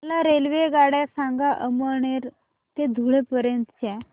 मला रेल्वेगाड्या सांगा अमळनेर ते धुळे पर्यंतच्या